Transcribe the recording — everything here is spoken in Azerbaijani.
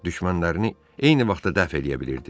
Düşmənlərini eyni vaxtda dəf eləyə bilirdi.